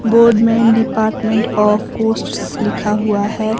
Board में department of posts लिखा हुआ है।